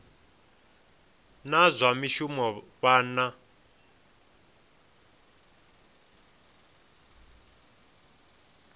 na zwa mishumo vha na